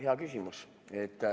Hea küsimus.